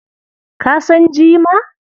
Ka san jima?